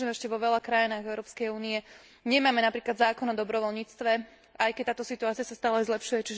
Vieme, že ešte vo veľa krajinách Európskej únie nemáme napríklad zákon o dobrovoľníctve, aj keď táto situácia sa stále zlepšuje.